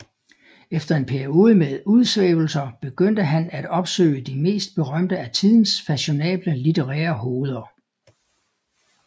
Efter en periode med udsvævelser begyndte han at opsøge de mest berømte af tidens fashionable litterære hoveder